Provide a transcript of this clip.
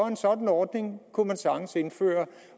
en sådan ordning kunne man sagtens indføre